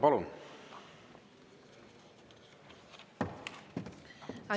Palun!